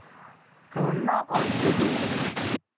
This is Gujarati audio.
ચીનનાં